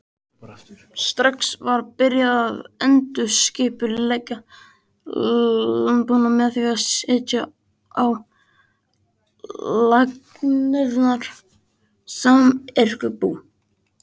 Strax var byrjað að endurskipuleggja landbúnað með því að setja á laggirnar samyrkjubú.